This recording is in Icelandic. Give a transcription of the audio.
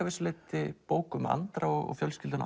vissu leyti bók um Andra og fjölskylduna